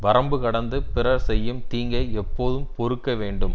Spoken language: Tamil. வரம்பு கடந்து பிறர் செய்யும் தீங்கை எப்போதும் பொறுக்க வேண்டும்